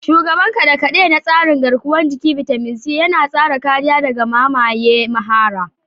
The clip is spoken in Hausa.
Shugaban kade-kade na tsarin garkuwar jiki, bitamin C, yana tsara kariya daga mamaye mahara.